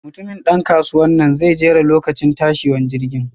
Mutumin dan kasuwanan zai jera lokacin tashiwan jirgin.